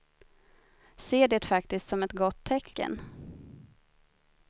Ser det faktiskt som ett gott tecken.